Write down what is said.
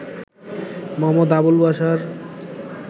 Md. Abul Bashar